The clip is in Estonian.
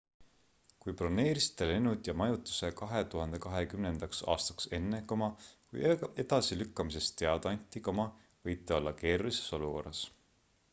kui broneerisite lennud ja majutuse 2020 aastaks enne kui edasilükkamisest teada anti võite olla keerulises olukorras